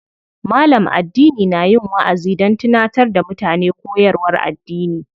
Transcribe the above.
Malam addini na yin waʼazi don tunatar da mutane koyarwar addini.